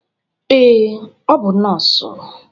Ee, ọ bụ nọọsụ.